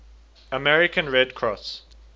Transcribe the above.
american red cross